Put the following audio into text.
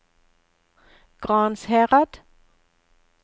Gransherad